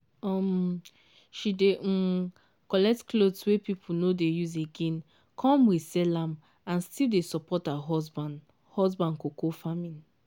um she dey um collect clothes wey people no dey use again come resell am and still dey support her husband husband cocoa farming.